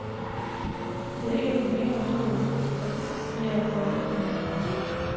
Der er ikke længere noget at være for eller imod.